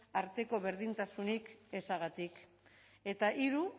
arteko berdintasunik ezagatik eta hiru